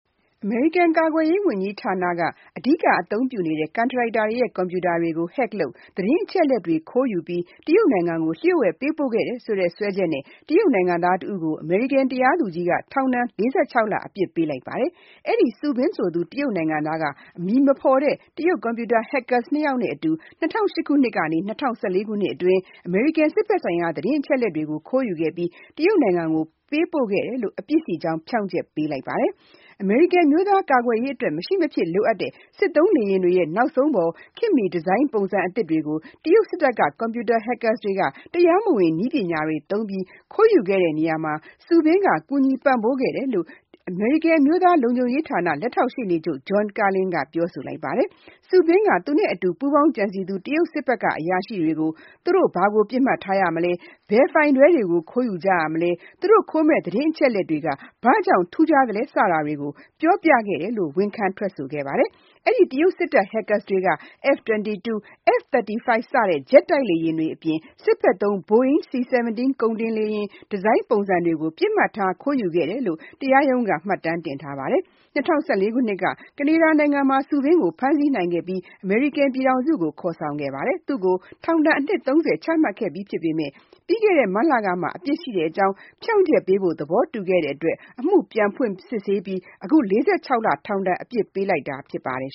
အမေရိကန် ကာကွယ်ရေးဝန်ကြီးဌာနက အများဆုံး အသုံးပြုနေ တဲ့ ကန်ထရိုက်တာတွေ ရဲ့ ကွန်ပြူတာတွေကို Hack လုပ်ပြီး သတင်း အချက်အလက်တွေ ခိုးယူကာ တရုတ်နိုင်ငံကို လျှို့ဝှက်တင်ပို့ခဲ့တယ်ဆိုတဲ့ စွဲချက်နဲ့ တရုတ်နိုင်ငံသားတဦးကို အမေရိကန်တရားသူကြီးက ထောင်ဒဏ် ၄၆ လ အပြစ်ပေးလိုက်ပါတယ်။ အဲ့ဒီ့ Su Bin ဆိုသူ တရုတ်နိုင်ငံသားက အမည်မဖေါ်တဲ့ တရုတ်ကွန်ပြူတာ hackers ၂ ယောက်နဲ့အတူ ၂၀၀၈ ခုနှစ်ကနေ ၂၀၁၄ ခုနှစ်အတွင်း အမေရိကန် စစ်ဘက်ဆိုင်ရာ သတင်းအချက်အလက်တွေကို ခိုးယူခဲ့ပြီး တရုတ်နိုင်ငံ ကို ပေးပို့ခဲ့တယ်လို့ အပြစ်ရှိကြောင်းဖြောင့်ချက်ပေးခဲ့ပါတယ်။ အမေရိကန်အမျိုးသားကာကွယ်ရေးအတွက် မရှိမဖြစ်လိုအပ်တဲ့ စစ်သုံးလေယာဉ်တွေရဲ့ နောက်ဆုံးပေါ်ခေတ်မှီ ဒီဇိုင်း ပုံစံသစ်တွေကို တရုတ်စစ်တပ်က ကွန်ပြူတာ Hackers တွေက တရားမဝင် နည်းပညာတွေသုံးပြီး ခိုးယူခဲ့တဲ့နေရာမှာ Su Bin က ကူညီပံ့ပိုးခဲ့တယ်လို့ အမေရိကန်အမျိုးသားလုံခြုံဌာန လက်ထောက်ရှေ့နေချုပ် John Carlin ကပြောဆိုလိုက်ပါတယ်။ Su Bin က သူ့နဲ့အတူပူးပေါင်းကြံစည်သူ တရုတ်စစ်တပ်ကအရာရှိတွေကို သူတို့ ဘာကို ပစ်မှတ်ထားမလဲ၊ ဘယ်ဖိုင်တွဲတွေကိုခိုးကြလဲ၊ သူတို့ခိုးမယ့် သတင်း အချက်အလက်တွေက ဘာ့ကြောင့်ထူးခြားတာလဲ စတာတွေ ကို ပြောပြခဲ့တယ်လို့ ဝန်ခံထွက်ဆိုခဲ့ပါတယ်။ အဲ့ဒီ့တရုတ်စစ်တပ် hackers တွေက F-22, F-35 ဂျက်တိုက်လေယာဉ်တွေအပြင် စစ်ဘက်သုံး Boeing C-17 ကုန်တင်လေယာဉ် ဒီဇိုင်းပုံစံတွေကို ပစ်မှတ်ထား ခိုးယူခဲ့တယ်လို့ တရားရုံးက မှတ်တမ်းတင်ထားပါတယ်။ ၂၀၁၄ ခုနှစ်က ကနေဒါနိုင်ငံမှာ Su Bin ကို ဖမ်းဆီးနိုင်ခဲ့ပြီး အမေရိကန်ပြည်ထောင်စု ကို ခေါ်ဆောင်ခဲ့ပါတယ်။ သူ့ကို အနှစ် ၃၀ ထောင်ဒဏ် ချမှတ်ခဲ့ပြီးဖြစ်ပေမဲ့ ပြီးခဲ့တဲ့ မတ်လကမှ အပြစ်ရှိကြောင်းဖြောင့်ချက်ပေးဖို့ သဘောတူခဲ့တဲ့အတွက် အမှုပြန်ဖွင့် စစ်ဆေးပြီး အခု ၄၆ လထောင်ဒဏ်အပြစ်ပေးလိုက်တာဖြစ်ပါတယ်